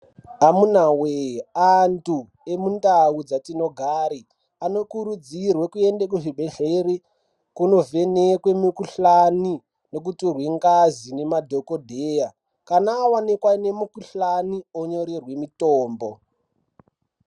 Amunawe! antu emundau dzatinogare anokurudzirwe kuende kuzvibhedhleri kunovhenekwe mukhuhlani nekutorwe ngazi nemadhokodheya kana awanika ane mikhuhlani onyorerwe mitombo.